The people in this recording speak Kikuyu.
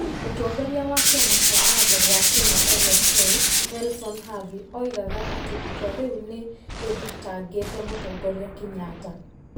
Mũtongoria wa Kĩama kĩa Watho wa Kenya (LSK) Nelson Havi oigaga atĩ itua rĩu nĩ rĩthitangĩte Mũtongoria Kenyatta.